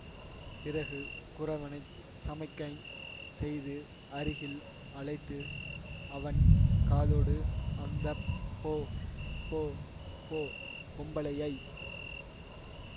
பிறகு குறவனைச் சமிக்ஞை செய்து அருகில் அழைத்து அவன் காதோடு அந்த பொ பொ பொ பொம்பளையை